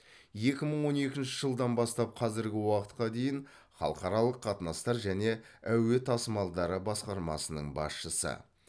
екі мың он екінші жылдан бастап қазіргі уақытқа дейін халықаралық қатынастар және әуе тасымалдары басқармасының басшысы